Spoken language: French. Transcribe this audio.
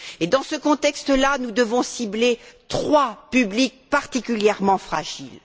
Dans ce contexte là, nous devons cibler trois publics particulièrement fragiles.